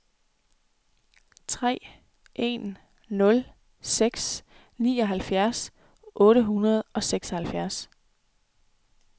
tre en nul seks nioghalvtreds otte hundrede og seksoghalvfjerds